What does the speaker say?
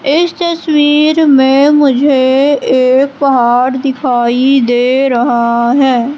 इस तस्वीर में मुझे एक पहाड़ दिखाई दे रहा है।